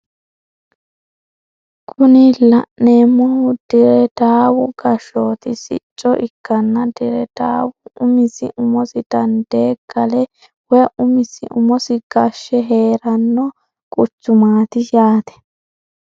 Kuni la'neemohu dire daawu gashshooti sicco ikkanna dire daawu umisi umosi dandee gale woye umisi umosi gashshe heeranno quchumaati yaate.